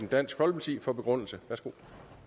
dansk folkeparti værsgo